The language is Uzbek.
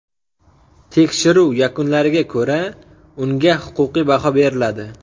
Tekshiruv yakunlariga ko‘ra, unga huquqiy baho beriladi.